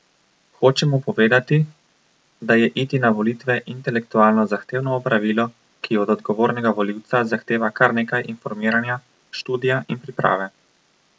Hočemo povedati, da je iti na volitve intelektualno zahtevno opravilo, ki od odgovornega volivca zahteva kar nekaj informiranja, študija in priprave.